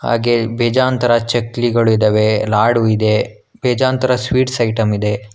ಹಾಗೆ ಬೇಜಾನ್ ತರಹ ಚಕ್ಲಿಗಳು ಇದಾವೆ ಲಾಡು ಇದೆ ಬೇಜಾನ್ ತರ ಸ್ವೀಟ್ಸ್ ಐಟಮ್ ಇದೆ.